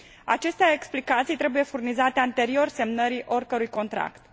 Aceste explicații trebuie furnizate anterior semnării oricărui contract.